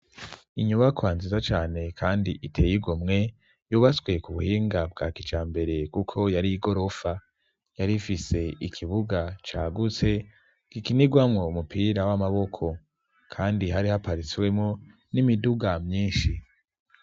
Inyubakwa nziza cane kandi iteye igomwe yubaswe ku buhinga bwa kijambere kuko yari igorofa yari ifise ikibuga cyagutse gikinigwamo mupira w'amaboko kandi hari ha parisi wemo n'imiduga myinshi.